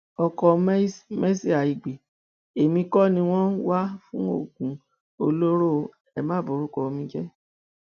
ọkọ mercy àìgbé èmi kọ ni wọn ń wá fún oògùn olóró o ẹ má borúkọ mi jẹ